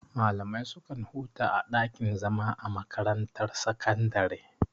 Malamai su kan huta a ɗakin zama a makarantar sakandare.